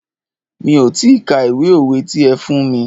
Mi ò ti ka ìwé òwe ti ẹ fún mí.